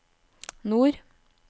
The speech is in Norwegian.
nord